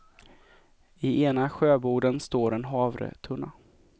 I ena sjöboden står en havretunna.